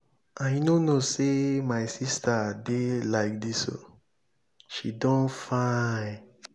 i no know say my sister dey like dis oo she don fine.